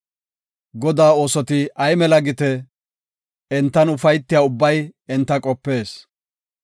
Godaa oosoti ay mela gite! Entan ufaytiya ubbay enta qopees.